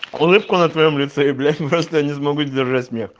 улыбку на твоём лице и блять просто я не смогу сдержать смех